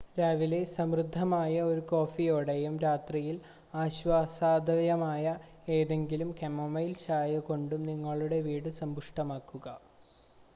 രാവിലെ സമൃദ്ധമായ ഒരു കോഫിയോടെയും രാത്രിയിൽ ആശ്വാസദായകമായ ഏതെങ്കിലും കമൊമൈൽ ചായ കൊണ്ടും നിങ്ങളുടെ വീട് സമ്പുഷ്ടമാക്കുക